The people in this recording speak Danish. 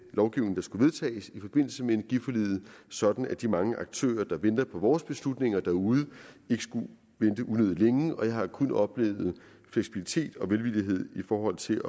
lovgivning der skulle vedtages i forbindelse med energiforliget sådan at de mange aktører der venter på vores beslutninger derude ikke skulle vente unødig længe og jeg har kun oplevet fleksibilitet og velvillighed i forhold til